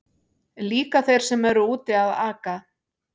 Líka þeir sem eru úti að aka.